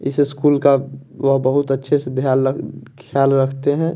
इस इस्कूल का वह बहुत अच्छे से ध्यान रख ख्याल रखते हैं।